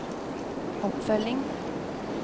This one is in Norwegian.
oppfølging